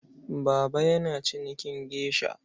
Baba yana cinikin geisha.